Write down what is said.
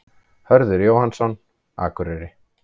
Hörður Jóhannsson, Akureyri